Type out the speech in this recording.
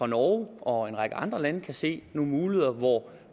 norge og en række andre lande kan se nogle muligheder hvor